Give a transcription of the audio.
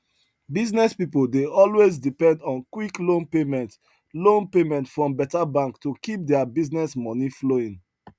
business people dey always depend on quick loan payment loan payment from better bank to keep their business money flowing